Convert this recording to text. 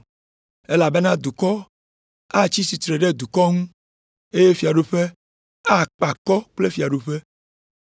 Elabena dukɔ atsi tsitre ɖe dukɔ ŋu, eye fiaɖuƒe akpe akɔ kple fiaɖuƒe.